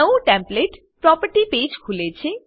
નવું template property page ખુલે છે